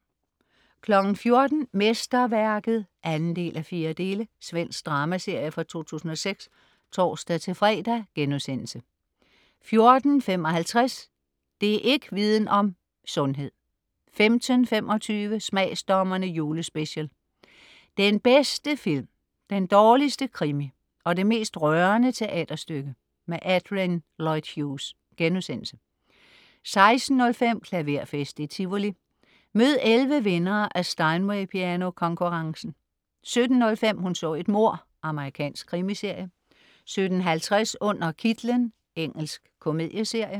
14.00 Mesterværket (2:4). Svensk dramaserie fra 2006 (tors-fre)* 14.55 Det' ikk' Viden om: Sundhed 15.25 Smagsdommerne Julespecial. Den bedste film, den dårligste krimi og det mest rørende teaterstykke. Adrian Lloyd Hughes* 16.05 Klaverfest i Tivoli. Mød 11 vindere af Steinway piano-konkurrencen 17.05 Hun så et mord. Amerikansk krimiserie 17.50 Under kitlen. Engelsk komedieserie